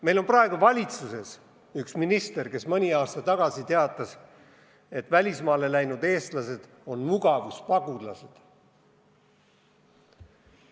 Meil on praegu valitsuses üks minister, kes mõni aasta tagasi teatas, et välismaale läinud eestlased on mugavuspagulased.